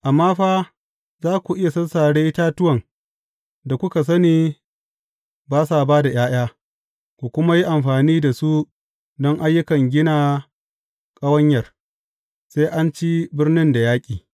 Amma fa, za ku iya sassare itatuwan da kuka sani ba sa ba da ’ya’ya, ku kuma yi amfani da su don ayyukan gina ƙawanyar, sai an ci birnin da yaƙi.